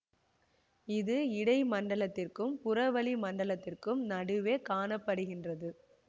இது இடை மண்டலத்திற்கும் புறவளி மண்டலத்திற்கும் நடுவே காண படுகின்றது